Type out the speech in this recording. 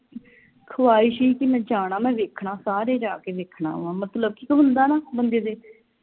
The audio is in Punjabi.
ਖਾਹਿਸ਼ ਹੀ ਕਿ ਮੈਂ ਜਾਣਾ ਮੈਂ ਵੇਖਣਾ ਸਾਰੇ ਜਾ ਕੇ ਵੇਖਣਾ ਵਾ ਮਤਲਬ ਕਿ ਇਕ ਹੁੰਦਾ ਨਾ ਬੰਦੇ ਦੇ